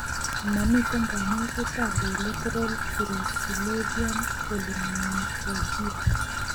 Momiten kanyoiseet ab biletaral perisylvanian polymicrogyra